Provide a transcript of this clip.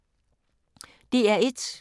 DR1